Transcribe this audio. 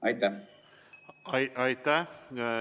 Aitäh!